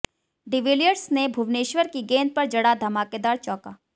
de Villiers ने भुवनेश्वर की गेंद पर जड़ा धमाकेदार चौका